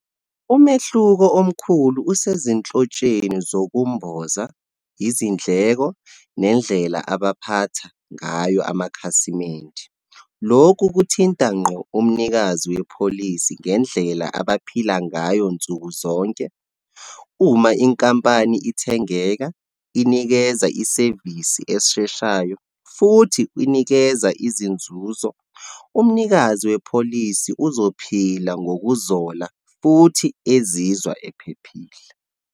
Umehluko omkhulu usezinhlotsheni zokumboza, izindleko, nendlela abaphatha ngayo amakhasimende. Lokhu kuthinta ngqo umnikazi wepholisi ngendlela abaphila ngayo nsukuzonke. Uma inkampani ithengeka, inikeza isevisi esheshayo, futhi inikeza izinzuzo, umnikazi wepholisi uzophila ngokuzola, futhi ezizwa ephephile.